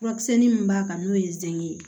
Furamisɛnni min b'a kan n'o ye ze ye